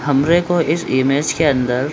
हमरे को इस इमेज के अन्दर --